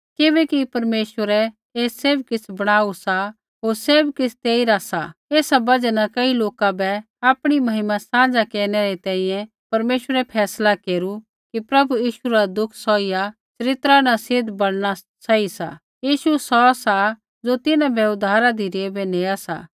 किबैकि परमेश्वरै ऐ सैभ किछ़ बणाऊ सा होर सैभ किछ़ तेइरा सा ऐसा बजहा न कई लोका बै आपणी महिमा साँझ़ा केरनै री तैंईंयैं परमेश्वरै फैसला केरू कि प्रभु यीशु रा दुःख सौहिया चरित्रा न सिद्ध बणना सही सा यीशु सौ सा ज़ो तिन्हां बै उद्धारा धिरै बै नेआ सा